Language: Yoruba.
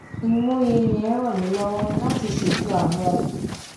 ìmòye yẹn ràn mí lówó láti ṣètò àwọn